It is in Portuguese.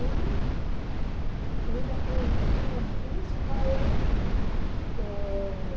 E a vida foi super difícil com ele. Eh...